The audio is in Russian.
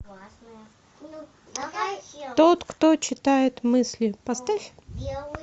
тот кто читает мысли поставь